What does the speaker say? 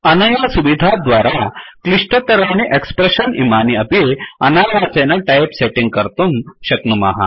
अनया सुविधा द्वारा क्लिष्टतराणि एक्स्प्रेश्शन् इमानि अपि अनायासेन टयिप् सेटिङ्ग् कर्तुं शक्नुमः